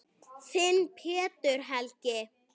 Þinn, Pétur Helgi.